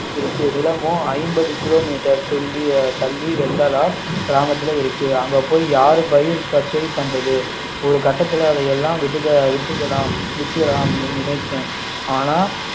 இருக்கு நிலமும் ஐம்பது கிலோ மீட்டர் துள்ளி தள்ளி வள்ளலார் கிராமத்தில் இருக்கு அங்க போய் யாரு பயிர் பச்சை பண்றது ஒரு கட்டத்துல அதெல்லாம் விட்டுட்டு விட்டுடலாம் விட்டுடலாம்னு நினைச்சேன் ஆனால்